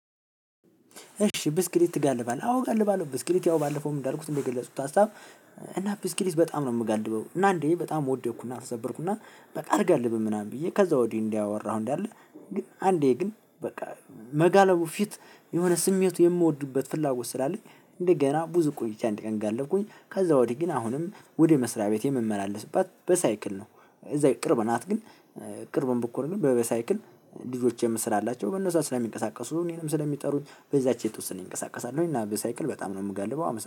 እሺ ብስክሌት ትጋልባለህ አዎ ጋልባለው ብስክሌት ያው ባለፈውም እንዳልኩት እንደገለጹት ሀሳብ። እና ብስክሌት በጣም ነው የምጋልበው። እና እንድሁ በጣም ወደኩና ተሰበርኩና በቃ አልጋልብም ምናምን ብዬ ከዛ ወዲህ እንዲህ ያወራሁ እንዳለ ግን አንዴ ግን በቃ መጋለቡ ፊት የሆነ ስሜቱ የምወዱበት ፍላጎት ስላለች። እንደገና ብዙ ቆይቻ አንድ ቀን ጋለብኩኝ። ከዛ ወዲህ ግን አሁንም ወደ መስሪያ ቤቴ የምመላለስባት በሳይክል ነው። እዛ ቅርብ ናት ግን። ቅርብም ብኮር ግን በበሳይክል ልጆችም ስላላቸው በነዛ ስለሚንቀሳቀሱ እኔንም ስለሚጠሩኝ በዛች የተወሰነ ይንቀሳቀሳሉኝ እና በሳይክል በጣም ነው የምገልበው